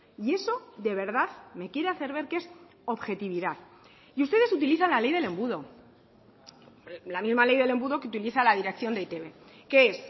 y eso de verdad me quiere hacer ver que es objetividad y ustedes utilizan la ley del embudo la misma ley del embudo que utiliza la dirección de e i te be que es